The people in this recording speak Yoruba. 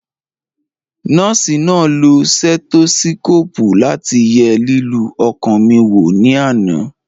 Nọ́ọ̀sì náà lo stẹ́tósíkòpù láti ye lílù ọkàn mi wò ní àná